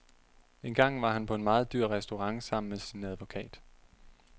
Engang var han på en meget dyr restaurant sammen med sin advokat.